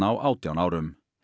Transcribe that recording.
á átján árum